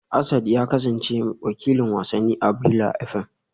Asad ya kasance wakilin wasanni a Brila FM